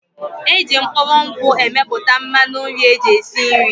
Eji mkpụrụ nkwụ emepụta mmanụ nri eji esi nri.